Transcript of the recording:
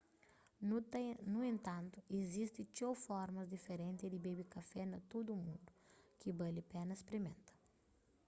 nu entantu izisti txeu formas diferenti di bebe kafé na tudu mundu ki bali pena sprimenta